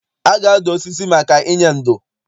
A ga-adụ osisi maka inye ndo.